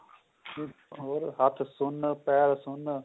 ਹੋਰ ਹੱਥ ਸੁੰਨ ਪੈਰ ਸੁੰਨ